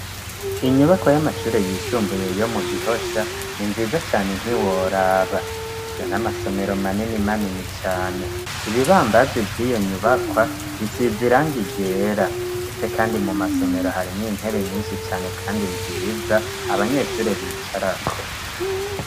Inyubako y'amashure yisumbuye yo mu Gihosha ni nziza cane ntiworaba fise n'amasomero manini manini cane ibi babanzi vyiyo nyubakwa bisize irangi ryera ndetse kandi mu masomero harimwo intebe nyishi cane kandi nziza abanyeshure bicarako.